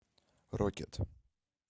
рокет